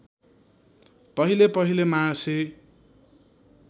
पहिले पहिले मार्सी